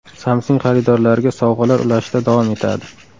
Samsung xaridorlariga sovg‘alar ulashishda davom etadi.